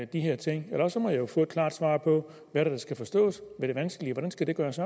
de her ting og et klart svar på hvad der skal forstås ved det vanskelige hvordan skal det gøres